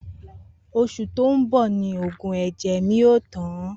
Osù tó n bò ni oògùn èjè mi yóò tán